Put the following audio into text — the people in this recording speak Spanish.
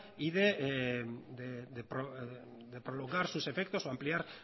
y de prolongar sus efectos o ampliar